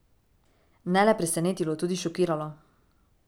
Ne le presenetilo, tudi šokiralo.